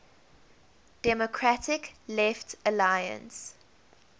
democratic left alliance